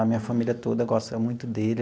A minha família toda gosta muito dele.